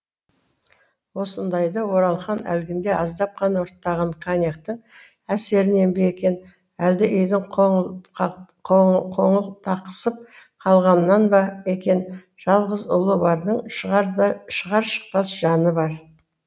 осындайда оралхан әлгінде аздап қана ұрттаған коньяктің әсерінен бе екен әлде үйдің қоңылтақсып қалғанынан ба екен жалғыз ұлы бардың шығар шықпас жаны бар